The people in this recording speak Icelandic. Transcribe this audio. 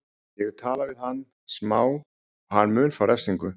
Ég hef talað við hann smá og hann mun fá refsingu.